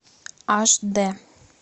аш д